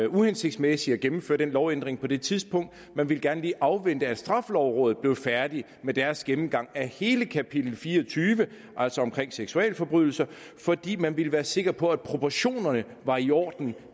uhensigtsmæssigt at gennemføre den lovændring på det tidspunkt man ville gerne lige afvente at de i straffelovrådet blev færdige med deres gennemgang af hele kapitel fire og tyve altså om seksualforbrydelser fordi man ville være sikker på at proportionerne var i orden